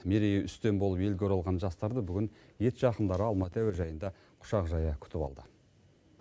мерейі үстем болып елге оралған жастарды бүгін ет жақындары алматы әуежайында құшақ жая күтіп алды